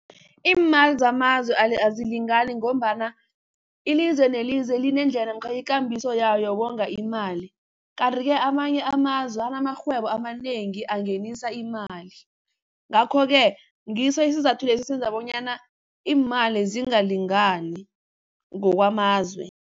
Iimali zamazwe azilingani ngombana ilizwe nelizwe linendlela namkha ikambiso yayo yokonga imali, kanti-ke amanye amazwe anamarhwebo amanengi angenisa imali. Ngakho-ke ngiso isizathu esenza bonyana iimali zingalingani ngokwamazwe.